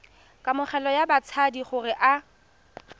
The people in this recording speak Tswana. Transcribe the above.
kamogelo ya batshabi gore a